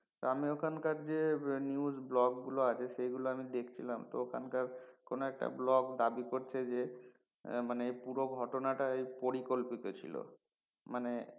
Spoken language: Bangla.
আমি ওখানকার যে news ব্লগ গুলো আছে সেগুলো আমি দেখছিলাম ওখানকার কোন একটা ব্লগ দাবি করছে যে মানে পুরো ঘটনাটা পরিকল্পিত ছিলো মানে